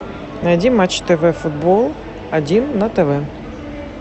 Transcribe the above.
найди матч тв футбол один на тв